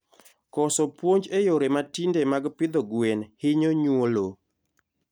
Koso puonj e yore mtinde mag pidho gwen hinyo nyuolo